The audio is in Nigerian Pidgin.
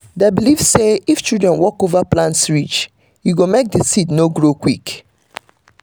them believe say if children walk over plant ridge e go make dey seed no grow quick